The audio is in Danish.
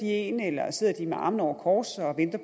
en eller sidder med armene over kors